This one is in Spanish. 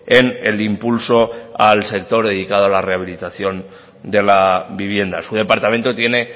en el impulso al sector dedicado a la rehabilitación de la vivienda su departamento tiene